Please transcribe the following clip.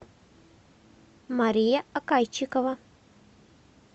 мария акайчикова